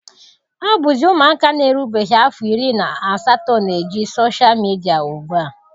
Ọ bụzi ụmụaka na-erubeghị afọ iri na asatọ na-eji soshal midia ugbua.